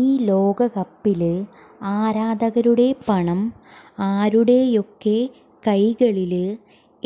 ഈ ലോകകപ്പില് ആരാധകരുടെ പണം ആരുടെയൊക്കെ കൈകളില്